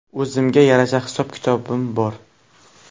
O‘zimga yarasha hisob-kitobim bor.